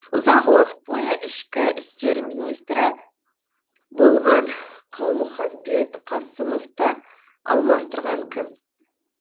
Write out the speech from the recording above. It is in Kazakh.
ұзақ уақыт бойы ішкі істер министрі болған қалмұханбет қасымовты алмастырған кім